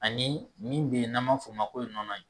Ani min beyi n'an b'a f'o ma ko ye nɔnɔ ye.